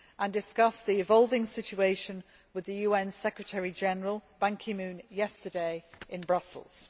I also discussed the evolving situation with the UN Secretary General Ban Ki Moon yesterday in Brussels.